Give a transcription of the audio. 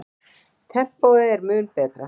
Tempóið er mun betra.